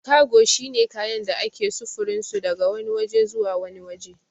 Kago shine kayan da ake sufurinsu daga wani waje zuwa wani waje